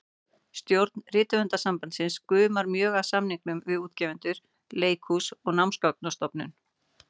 Stjórn Rithöfundasambandsins gumar mjög af samningum við útgefendur, leikhús og Námsgagnastofnun.